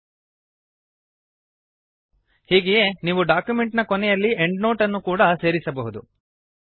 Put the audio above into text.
ಹೀಗೆಯೇ ನೀವು ಡಾಕ್ಯುಮೆಂಟ್ ನ ಕೊನೆಯಲ್ಲಿ ಎಂಡ್ನೋಟ್ ಅನ್ನು ಕೂಡಾ ಸೇರಿಸಬಹುದು